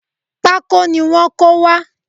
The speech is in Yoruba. Pákó ni wọ́n kó wá